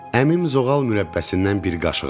Əmim zoğal mürəbbəsindən bir qaşıq aldı.